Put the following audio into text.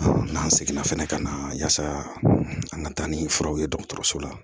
N'an seginna fɛnɛ ka na yasa an ka taa ni furaw ye dɔgɔtɔrɔso la